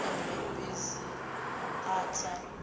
o namela bisi a tsa